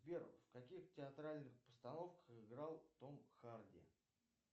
сбер в каких театральных постановках играл том харди